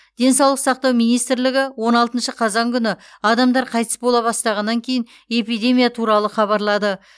денсаулық сақтау министрлігі он алтыншы қазан күні адамдар қайтыс бола бастағаннан кейін эпидемия туралы хабарлады